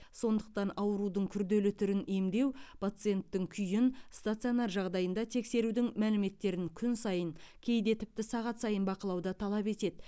сондықтан аурудың күрделі түрін емдеу пациенттің күйін стационар жағдайында тексерудің мәліметтерін күн сайын кейде тіпті сағат сайын бақылауды талап етеді